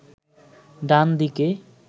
ডান দিকে